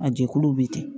A jɛkuluw bɛ ten